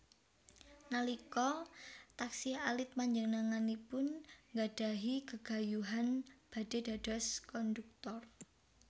Nalika taksih alit panjenenganipun nggadhahi gegayuhan badhé dados kondhuktor